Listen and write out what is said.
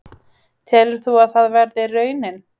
Telur þú að það verði raunin?